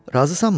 Razısanmı?